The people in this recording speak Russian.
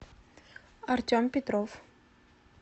артем петров